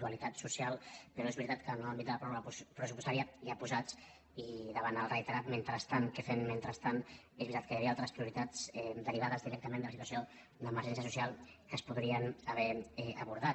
dualitat social però és veritat que en l’àmbit de la pròrroga pressupostària ja posats i davant del reiterat mentrestant què fem mentrestant hi havia altres prioritats derivades directament de la situació d’emergència social que es podrien haver abordat